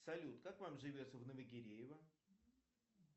салют как вам живется в новогиреево